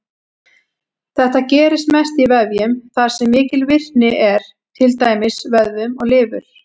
Þetta gerist mest í vefjum þar sem mikil virkni er, til dæmis vöðvum og lifur.